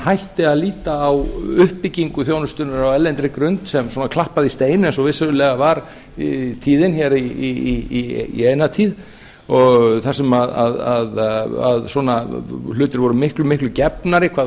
hætti að líta á uppbyggingu þjónustunnar á erlendri grund sem svona klappað í stein eins og vissulega var í eina tíð og þar sem svona hlutir voru miklu gefnir hvað